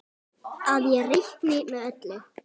Að ég reikni með öllu.